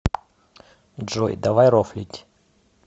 джой давай рофлить